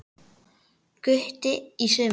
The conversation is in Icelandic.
Gutti í sumar.